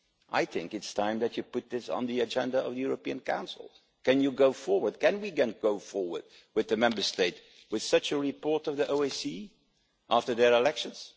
I think it's time that you put this on the agenda of the European Council. Can you go forward can we go forward with the Member States with such a report of the OSCE after their elections?